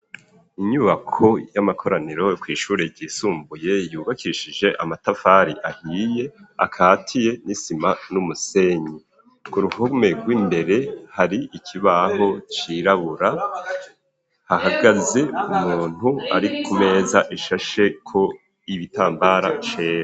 Inyubako y'amakoraniro kw'ishure ryisumbuye yubakishije amatafari ahiye akatiye n'isima n'umusenyi ku ruhome rw'imbere hariko ikibaho cirabura hahagaze umuntu ari ku meza ishasheko ibitambara cera